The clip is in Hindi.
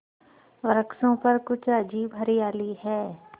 वृक्षों पर कुछ अजीब हरियाली है